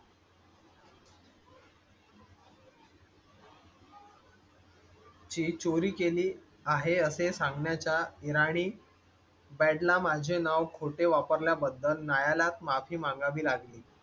ची चोरी केली आहे असे सांगण्या चा इराणी band ला माझे नाव खोटे वापरल्या बद्दल न्यायालयात माफी मागावी लागली.